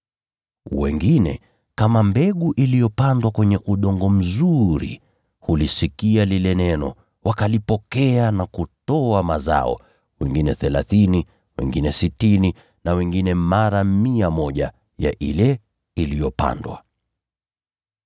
Wengine, kama mbegu iliyopandwa kwenye udongo mzuri, hulisikia lile neno, wakalipokea na kuzaa mazao. Wao huzaa mara thelathini, au mara sitini, au mara mia ya mbegu iliyopandwa.”